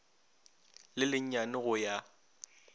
le le nyane go ya